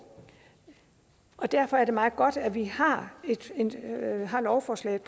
og derfor er det meget godt at vi har har lovforslaget